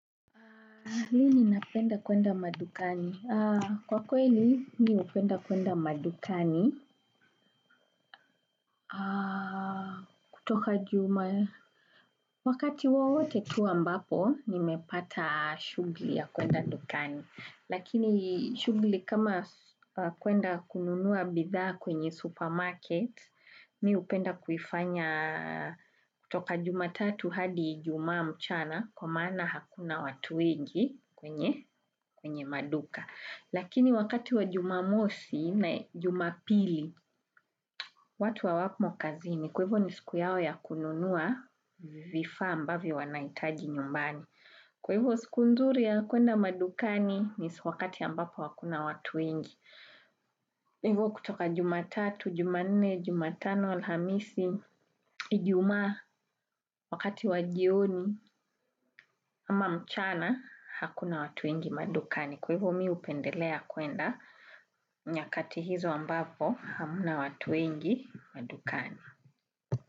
Lini napenda kwenda madukani? Kwa kweli mimi hupenda kwenda madukani kutoka juma. Wakati wowote tu ambapo, nimepata shughuli ya kwenda dukani. Lakini shughuli kama kwenda kununua bidhaa kwenye supermarket, mimi hupenda kuifanya kutoka juma tatu hadi ijumaa mchana kwa maana hakuna watu wengi kwenye maduka. Lakini wakati wa jumamosi na jumapili, watu wa hawako kazini, kwa hio ni siku yao ya kununua vifaa ambavyo wanahitaji nyumbani. Kwa hivo siku nzuri ya kwenda madukani ni wakati ambapo hakuna watu wengi hivo kutoka jumatatu, jumanne, jumatano, alhamisi, ijuma, wakati wajioni ama mchana hakuna watu wengi madukani. Kwa hivo mimi hupendelea kwenda nyakati hizo ambapo hamna watu wengi madukani.